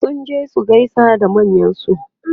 sun je su gaisa da manyansu